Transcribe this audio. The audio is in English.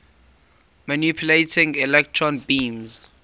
manipulating electron beams